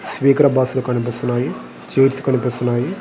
Sleeper బస్సులు కనిపిస్తున్నాయి. సీట్లు కనిపిస్తున్నాయి.